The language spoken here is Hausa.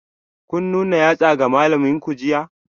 Kun nuna yatsa ga malaminku jiya?